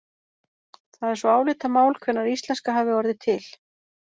Það er svo álitamál hvenær íslenska hafi orðið til.